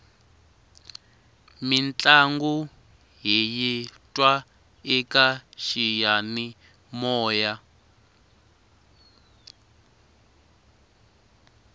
mintlangu hiyi twa eka xiyanimoya